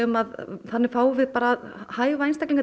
að þannig fáum við það hæfa einstaklinga